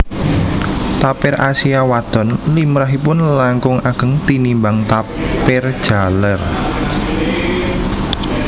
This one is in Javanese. Tapir Asia wadon limrahipun langkung ageng tinimbang tapir jaler